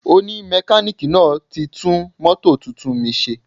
Oni mekaniki náà ti tún mótò tuntun mi ṣe